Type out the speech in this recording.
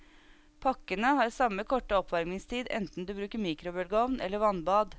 Pakkene har samme korte oppvarmingstid enten du bruker mikrobølgeovn eller vannbad.